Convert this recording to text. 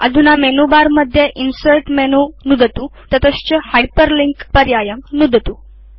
अधुना मेनुबारमध्ये insert menu नुदतु ततश्च हाइपरलिंक पर्यायं नुदतु